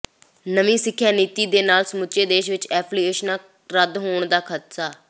ਨਵੀਂ ਸਿੱਖਿਆ ਨੀਤੀ ਦੇ ਨਾਲ ਸਮੁੱਚੇ ਦੇਸ਼ ਵਿੱਚ ਐਫ਼ੀਲੀਏਸ਼ਨਾਂ ਰੱਦ ਹੋਣ ਦਾ ਖ਼ਦਸ਼ਾ